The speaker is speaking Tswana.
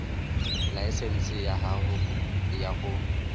laesense ya gago ya go